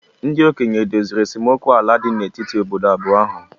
ndị okenye edoziri esemokwu ala dị n'etiti obodo abụọ ahụ?